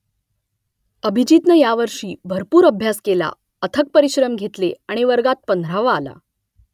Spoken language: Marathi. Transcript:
अभिजीतनं यावर्षी भरपूर अभ्यास केला अथक परिश्रम घेतले आणि वर्गात पंधरावा आला